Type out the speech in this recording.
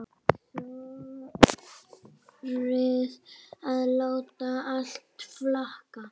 Þorði að láta allt flakka.